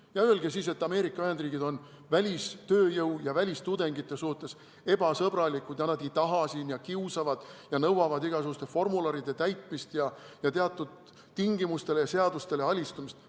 Ja öelge siis, et Ameerika Ühendriigid on välistööjõu ja välistudengite suhtes ebasõbralikud ega taha neid sinna, et nad kiusavad ja nõuavad igasuguste formularide täitmist ja teatud tingimustele ja seadustele alistumist.